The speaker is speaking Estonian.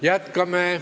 Jätkame.